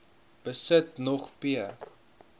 besit nog p